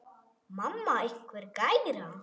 Mamma einhver gæra?